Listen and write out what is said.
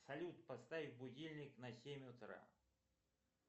салют поставь будильник на семь утра